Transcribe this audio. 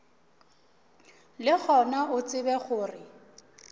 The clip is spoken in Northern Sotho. le gona o tsebe gore